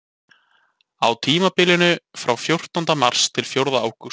Á tímabilinu frá fjórtánda mars til fjórða ágúst.